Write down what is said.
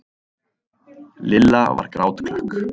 Lilla var grátklökk.